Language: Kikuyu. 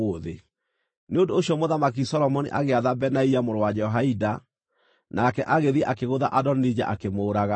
Nĩ ũndũ ũcio Mũthamaki Solomoni agĩatha Benaia mũrũ wa Jehoiada, nake agĩthiĩ akĩgũtha Adonija, akĩmũũraga.